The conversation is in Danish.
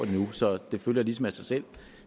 endnu så det følger ligesom af sig selv